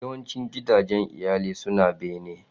Yawancin gidajen iyali suna bene.